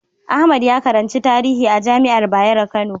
Ahmad ya karanci tarihi a jami'ar Bayero Kano.